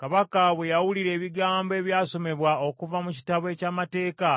Kabaka bwe yawulira ebigambo ebyasomebwa okuva mu Kitabo eky’Amateeka